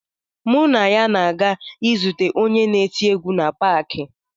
Mụ na ya na-aga izute onye na-eti egwu na paakị.